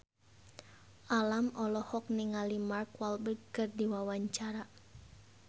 Alam olohok ningali Mark Walberg keur diwawancara